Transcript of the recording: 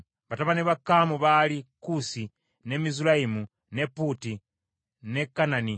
Batabani ba Kaamu baali: Kuusi, ne Mizulayimu, ne Puuti , ne Kanani.